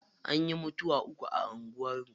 Anyi mutuwa uku a anguwar mu.